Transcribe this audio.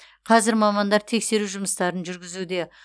қазір мамандар тексеру жұмыстарын жүргізуде